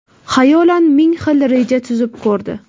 Xayolan ming xil reja tuzib ko‘rdi.